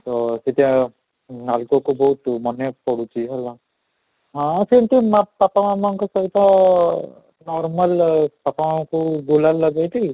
ଅଃ ସେଠି ନାଲକୋ ତ ବହୁତ ମାନେ ପଡୁଛି ହେଲା, ହଁ ସେମିତି ମା ପାପା ମାମା ଙ୍କ ସହିତ normally ପାପା ଙ୍କୁ ଗୁଲାମ ଲଗେଇ ଥିଲି